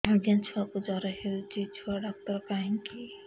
ଆଜ୍ଞା ଛୁଆକୁ ଜର ହେଇଚି ଛୁଆ ଡାକ୍ତର କାହିଁ କି